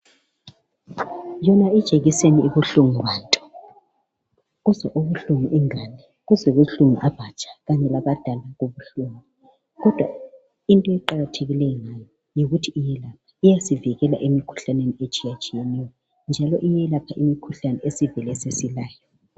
Yona ijekisani ibuhlungu bantu! Kuzwa ubuhlungu ingane, kuzwa ubuhlungu abatsha, kanye labadala kubuhlungu, kodwa into eqakathekileyo ngayo, yikuthi iyelapha. Iyasivikela emikhuhlane etshiyetshiyeneyo, njalo iyelapha imikhuhlane esesivele sesilayo.